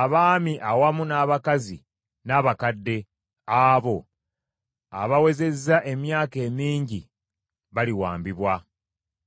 abaami awamu n’abakazi n’abakadde abo abawezezza emyaka emingi baliwambibwa.